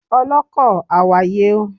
Ọlọ́kọ̀, àwàyè o